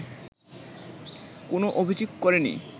কোন অভিযোগ করেনি